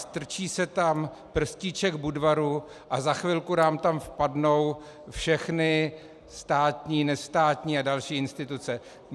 Strčí se tam prstíček Budvaru a za chvilku nám tam vpadnou všechny státní, nestátní a další instituce.